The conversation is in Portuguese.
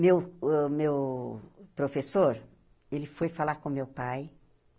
Meu uh meu professor, ele foi falar com meu pai.